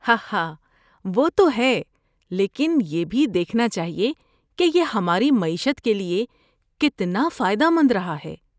ہاہا، وہ تو ہے، لیکن یہ بھی دیکھنا چاہیے کہ یہ ہماری معیشت کے لیے کتنا فائدہ مند رہا ہے!